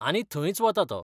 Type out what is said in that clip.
आनी थंयच वता तो.